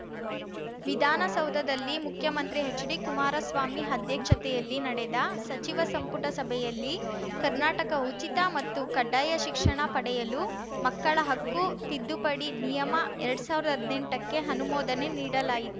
ವಿಧಾನಸೌಧದಲ್ಲಿ ಮುಖ್ಯಮಂತ್ರಿ ಎಚ್‌ಡಿಕುಮಾರಸ್ವಾಮಿ ಅಧ್ಯಕ್ಷತೆಯಲ್ಲಿ ನಡೆದ ಸಚಿವ ಸಂಪುಟ ಸಭೆಯಲ್ಲಿ ಕರ್ನಾಟಕ ಉಚಿತ ಮತ್ತು ಕಡ್ಡಾಯ ಶಿಕ್ಷಣ ಪಡೆಯಲು ಮಕ್ಕಳ ಹಕ್ಕು ತಿದ್ದುಪಡಿ ನಿಯಮ ಎರಡ್ ಸಾವಿರ್ದಾ ಹದ್ನೆಂಟಕ್ಕೆ ಅನುಮೋದನೆ ನೀಡಲಾಯಿತು